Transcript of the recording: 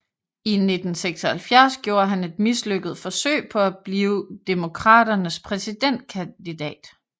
I 1976 gjorde han et mislykket forsøg på at blive Demokraternes præsidentkandidat